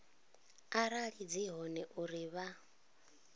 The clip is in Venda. arali dzi hone uri vha